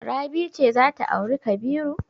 Rabi ce za ta auri Kabiru.